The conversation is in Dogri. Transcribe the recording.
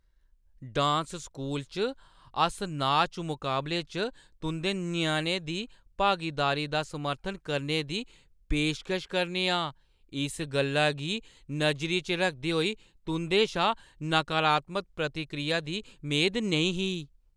डांस स्कूल च, अस नाच मकाबले च तुंʼदे ञ्याणे दी भागीदारी दा समर्थन करने दी पेशकश करा 'रने आं, इस गल्ला गी नजरी च रखदे होई तुंʼदे शा नकारात्मक प्रतिक्रिया दी मेद नेईं ही ।